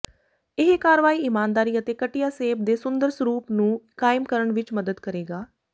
ਇਹ ਕਾਰਵਾਈ ਈਮਾਨਦਾਰੀ ਅਤੇ ਕੱਟਿਆ ਸੇਬ ਦੇ ਸੁੰਦਰ ਸਰੂਪ ਨੂੰ ਕਾਇਮ ਕਰਨ ਵਿੱਚ ਮਦਦ ਕਰੇਗਾ